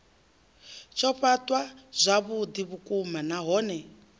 tsho fhaṱwa zwavhuḓi vhukuma nahone